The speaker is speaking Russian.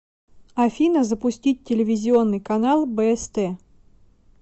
афина запустить телевизионный канал бст